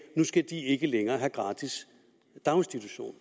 nu skal de ikke længere have gratis daginstitution